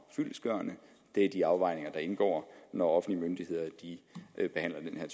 fyldestgørende det er de afvejninger der indgår når offentlige myndigheder behandler